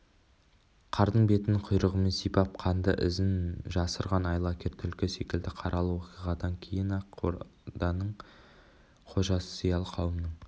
қардың бетін құйрығымен сипап қанды ізін жасырған айлакер түлкі секілді қаралы оқиғадан кейін ақ орданың қожасы зиялы қауымның